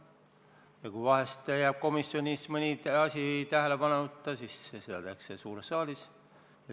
Ja kui vahel jääb komisjonis mõni asi tähele panemata, siis tehakse seda suures saalis.